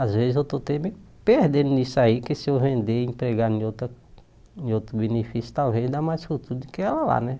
Às vezes eu estou até bem perdendo nisso aí, porque se eu vender e empregar em outra em outro benefício, talvez dá mais futuro do que ela lá, né?